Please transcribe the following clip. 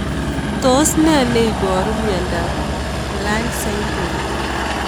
Tos nee neiparu miondop Lynch syndrome